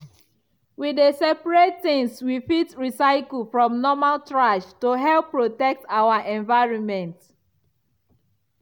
we dey separate things we fit recycle from normal trash to help protect our environment.